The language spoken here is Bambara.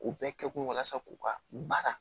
U bɛɛ kɛkun ye walasa k'u ka baara